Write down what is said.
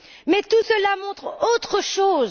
Mais tout cela montre autre chose.